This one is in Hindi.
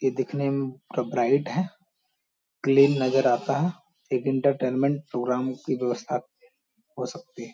ये दिखने में पूरा ब्राइट है क्लीन नजर आता है एक इंटरटेनमेंट प्रोग्राम की व्यवस्था हो सकती --